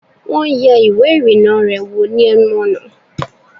Wọ́n yẹ ìwẹ́ ìrìnnà rẹ̀ wò ni ẹnu ọ̀nà